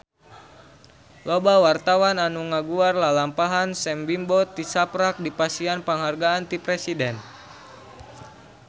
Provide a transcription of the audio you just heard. Loba wartawan anu ngaguar lalampahan Sam Bimbo tisaprak dipasihan panghargaan ti Presiden